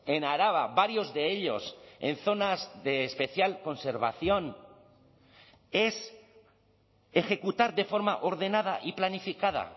en araba varios de ellos en zonas de especial conservación es ejecutar de forma ordenada y planificada